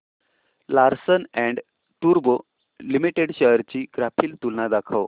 Larsen and टुर्बो limited shares ची graphical तुलना दाखव